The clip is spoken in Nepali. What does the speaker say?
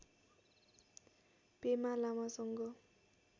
पेमा लामासँग